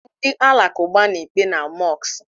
Ndi alakụba na-ekpe na mosku.